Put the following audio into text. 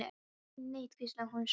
Segðu ekki neitt, hvíslaði hún svo.